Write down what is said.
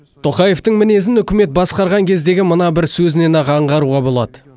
тоқаевтың мінезін үкімет басқарған кездегі мына бір сөзінен ақ аңғаруға болады